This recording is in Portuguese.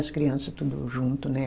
As crianças tudo junto, né?